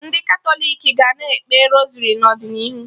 Ndị Katọlik ga na-ekpe Rosari n'ọdịnihu